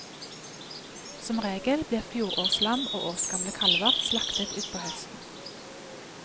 Som regel blir fjorårslam og årsgamle kalver slaktet utpå høsten.